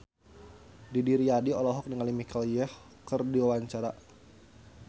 Didi Riyadi olohok ningali Michelle Yeoh keur diwawancara